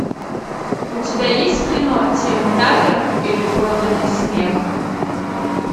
у тебя есть кино тим талер или проданный смех